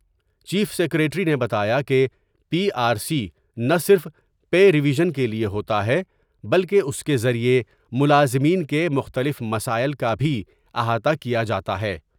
Chief secretary نے بتایا کہ پی آر سی نہ صرف پے ریویژن کے لیے ہوتا ہے بلکہ اس کے ذریعہ ملازمین کے مختلف مسائل کا بھی احاطہ کیا جا تا ہے ۔